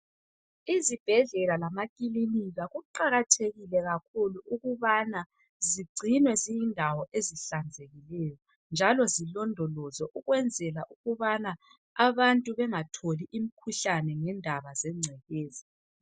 Izibhedlela lamakilinika kuqakathekile kakhulu ukubana zigcinwe ziyindawo ezihlanzekileyo njalo zilondolozwe ukwenzela ukubana abantu bengatholi imikhuhlane ngendaba zengcekeza.